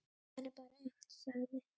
Klukkan er bara eitt, sagði